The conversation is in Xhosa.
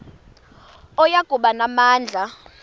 oya kuba namandla